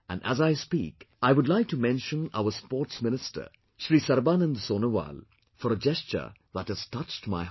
And as I speak, I would like to mention our Sports Minister Shri Sarbanand Sonowal for a gesture that has touched my heart